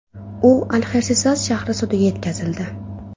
U Alxersiras shahri sudiga yetkazildi.